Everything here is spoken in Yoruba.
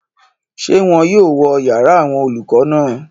Ṣé wọ́n yóò wó yàrá àwọn olùkọ́ náà?